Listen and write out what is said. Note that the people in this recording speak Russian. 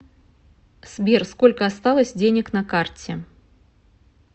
сбер сколько осталось денег на карте